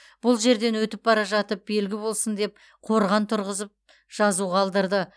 бұл жерден өтіп бара жатып белгі болсын деп қорған тұрғызып жазу қалдырды